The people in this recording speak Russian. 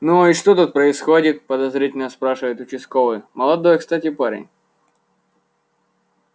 ну и что тут происходит подозрительно спрашивает участковый молодой кстати парень